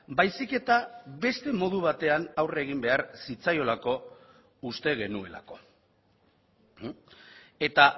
baizik eta beste modu batean aurre egin behar zitzaiolako uste genuelako eta